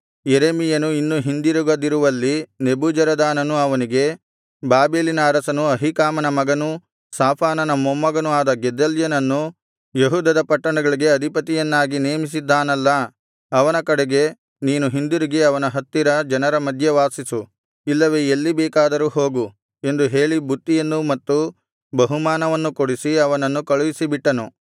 ಯೆರೆಮೀಯನು ಇನ್ನೂ ಹಿಂದಿರುಗದಿರುವಲ್ಲಿ ನೆಬೂಜರದಾನನು ಅವನಿಗೆ ಬಾಬೆಲಿನ ಅರಸನು ಅಹೀಕಾಮನ ಮಗನೂ ಶಾಫಾನನ ಮೊಮ್ಮಗನೂ ಆದ ಗೆದಲ್ಯನನ್ನು ಯೆಹೂದದ ಪಟ್ಟಣಗಳಿಗೆ ಅಧಿಪತಿಯನ್ನಾಗಿ ನೇಮಿಸಿದ್ದಾನಲ್ಲಾ ಅವನ ಕಡೆಗೆ ನೀನು ಹಿಂದಿರುಗಿ ಅವನ ಹತ್ತಿರ ಜನರ ಮಧ್ಯೆ ವಾಸಿಸು ಇಲ್ಲವೆ ಎಲ್ಲಿ ಬೇಕಾದರೂ ಹೋಗು ಎಂದು ಹೇಳಿ ಬುತ್ತಿಯನ್ನೂ ಮತ್ತು ಬಹುಮಾನವನ್ನೂ ಕೊಡಿಸಿ ಅವನನ್ನು ಕಳುಹಿಸಿಬಿಟ್ಟನು